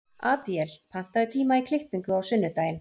Adíel, pantaðu tíma í klippingu á sunnudaginn.